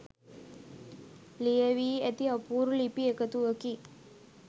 ලියැවී ඇති අපූරු ලිපි එකතුවකි